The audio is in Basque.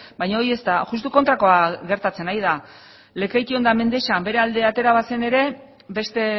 baina hori ez da justu kontrakoa gertatzen ari da lekeition eta mendexan bere alde atera bazen ere beste